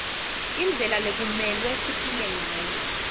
indlela lekumelwe siphile ngayo